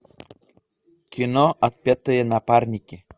кино отпетые напарники